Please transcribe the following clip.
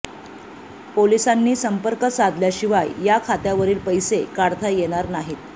पोलिसांनी संपर्क साधल्याशिवाय या खात्यांवरील पैसे काढता येणार नाहीत